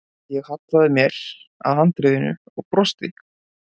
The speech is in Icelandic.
Ég hallaði mér að handriðinu og brosti.